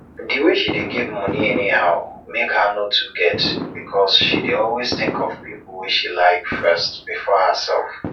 di way she dey give money anyhow make her no too get because she dey always think of people wey she like first before herself